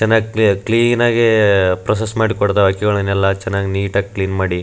ಜನಕ್ಕೆ ಕ್ಲೀನ್ ಆಗಿ ಪ್ರೋಸೆಸ್ನ್ ಮಾಡಿ ಕೊಡ್ತಾರೆ ಎಲ್ಲ ಚೆನ್ನಾಗ್ ನಿಟ್ ಆಗ್ ಕ್ಲೀನ್ ಮಾಡಿ .